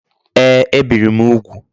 Ee, e biri m ugwu